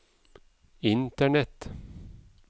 internett